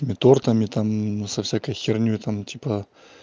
тортами там со всякой хернёй там типа